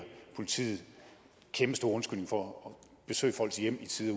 politiet en kæmpestor undskyldning for at besøge folks hjem i tide